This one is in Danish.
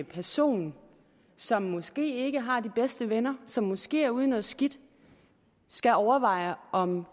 personer som måske ikke har de bedste venner som måske er ude i noget skidt skal overveje om